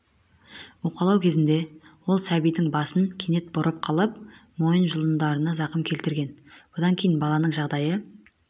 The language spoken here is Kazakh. уқалау кезінде ол сәбидің басын кенет бұрып қалып мойын жұлындарына зақым келтірген бұдан кейін баланың жағдайы